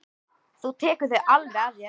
Þú tekur þau alveg að þér.